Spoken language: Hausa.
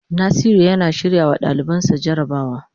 Nasiru yana shirrawa dalibansa jarabawa.